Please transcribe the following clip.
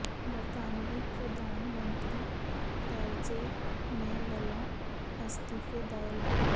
ਬਰਤਾਨਵੀ ਪ੍ਰਧਾਨ ਮੰਤਰੀ ਟੈਰੇਜ਼ਾ ਮੇਅ ਵੱਲੋਂ ਅਸਤੀਫੇ ਦਾ ਐਲਾਨ